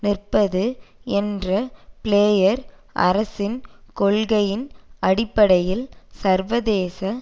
நிற்பது என்ற பிளேயர் அரசின் கொள்கையின் அடிப்படையில் சர்வதேச